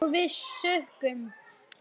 Og við sukkum.